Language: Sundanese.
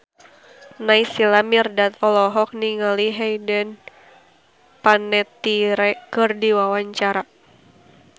Naysila Mirdad olohok ningali Hayden Panettiere keur diwawancara